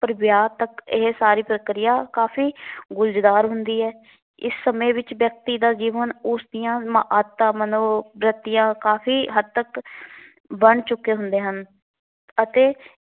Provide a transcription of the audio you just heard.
ਪਰ ਵਿਆਹ ਤੱਕ ਇਹ ਸਾਰੀ ਪ੍ਰਕਿਰਿਆ ਕਾਫੀ ਗੁਲਝਦਾਰ ਹੁੰਦੀ ਹੈ। ਇਸ ਸਮੇਂ ਵਿੱਚ ਵਿਅਕਤੀ ਦਾ ਜੀਵਨ ਉਸ ਦੀਆਂ ਅਮ ਆਦਤਾਂ ਮਨੋਵਰੱਤੀਆਂ ਕਾਫ਼ੀ ਹੱਦ ਤੱਕ ਬਣ ਚੁੱਕੇ ਹੁੰਦੇ ਹਨ।